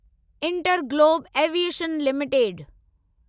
InterGlobe aviation limited